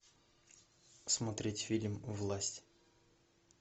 смотреть фильм власть